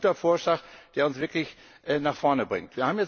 Es ist ein guter Vorschlag, der uns wirklich nach vorne bringt.